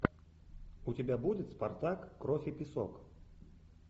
у тебя будет спартак кровь и песок